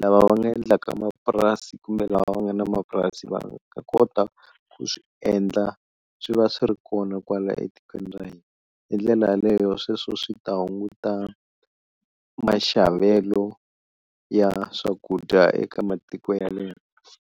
lava va nga endlaka mapurasi kumbe lava va nga na mapurasi, va ta kota ku swi endla swi va swi ri kona kwala etikweni ra hina, hi ndlela yaleyo sweswo swi ta hunguta maxavelo ya swakudya eka matiko ya le handle.